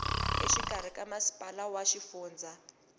exikarhi ka masipala wa xifundza